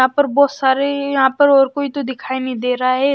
यहां पर बहुत सारे यहां पर और कोई तो दिखाई नहीं दे रहा है।